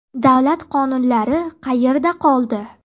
Davlat qonunlari qayerda qoldi?